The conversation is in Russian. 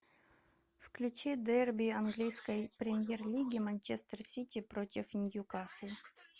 включи дерби английской премьер лиги манчестер сити против ньюкасла